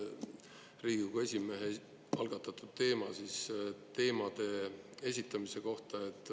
Riigikogu esimehe algatatud teema teemade esitamise kohta.